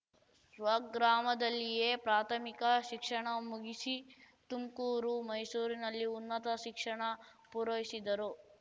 ಸ್ವಗ್ರಾಮದಲ್ಲಿಯೇ ಪ್ರಾಥಮಿಕ ಶಿಕ್ಷಣ ಮುಗಿಸಿ ತುಮ್ಕೂರು ಮೈಸೂರಿನಲ್ಲಿ ಉನ್ನತ ಶಿಕ್ಷಣ ಪೂರೈಸಿದರು